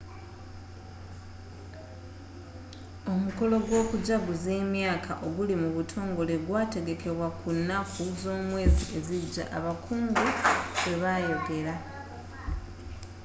omukolo gw'okujaguza emyaka oguli mu butongole gwategekebwa ku nnaku z'omwezi ezijja abakungu bwebayogera